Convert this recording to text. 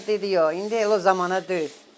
Dedi yox, indi elə o zamana deyil.